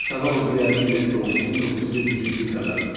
Səfərov Ziyəddin Mehdioğlu, 1970-ci il təvəllüddü.